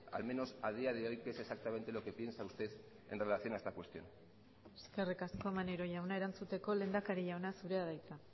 al menos a día de hoy qué es exactamente lo que piensa usted en relación a esta cuestión eskerrik asko maneiro jauna erantzuteko lehendakari jauna zurea da hitza